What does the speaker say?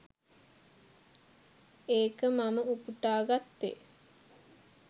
ඒක මම උපුටා ගත්තේ.